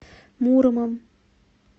муромом